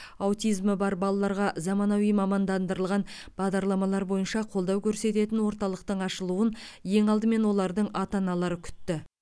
аутизмі бар балаларға заманауи мамандандырылған бағдарламалар бойынша қолдау көрсететін орталықтың ашылуын ең алдымен олардың ата аналары күтті